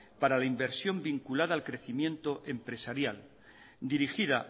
para la inversión vinculada al crecimiento empresarial dirigida